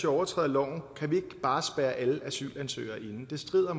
overtræder loven kan vi ikke bare spærre alle asylansøgere inde det strider